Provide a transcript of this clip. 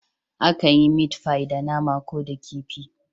Akan yi meat pie da nama ko da kifi.